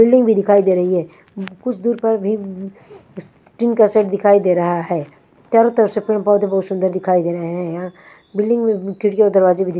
building भी दिखाई दे रही है कुछ दूर पर भी टीन का शेड दिखाई दे रहा है चारों तरफ से पेड़ पौधे बहुत सुंदर दिखाई दे रहे हैं यहां बिल्डिंग में खिड़की और दरवाजे भी दि--